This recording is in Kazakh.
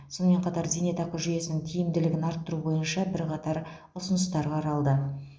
сонымен қатар зейнетақы жүйесінің тиімділігін арттыру бойынша бірқатар ұсыныстар қаралды